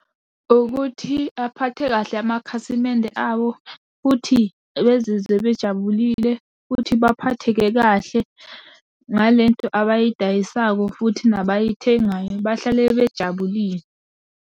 Ukuthi aphathe kahle amakhasimende awo futhi bezizwe bejabulile, futhi baphatheke kahle ngale nto abayidayisako futhi nabayithengayo bahlale bejabulile.